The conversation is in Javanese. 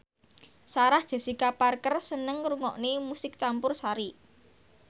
Sarah Jessica Parker seneng ngrungokne musik campursari